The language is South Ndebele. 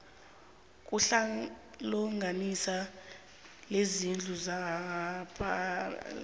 kuhlalohlanganisela lezindlu zepalamende